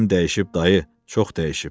İçərim dəyişib dayı, çox dəyişib.